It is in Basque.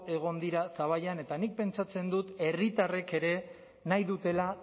egon dira zaballan eta nik pentsatzen dut herritarrek ere nahi dutela